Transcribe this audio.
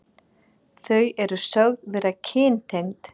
Þau eru sögð vera kyntengd.